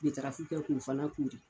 Betarafi kɛ k'o fana kɔɔri.